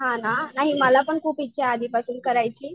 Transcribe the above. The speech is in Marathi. हा ना नाही मला पण खूप इच्छा आहे आधीपासून करायची.